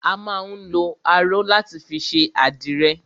A má ń lọ aró láti fi ṣe àdìrẹ